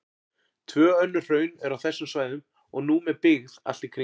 Tvö önnur hraun eru á þessum svæðum og nú með byggð allt í kring.